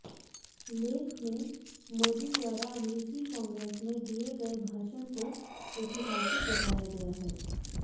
लेख में मोदी द्वारा अमेरिकी कांग्रेस में दिया गए भाषण को ऐतिहासिक बताया गया है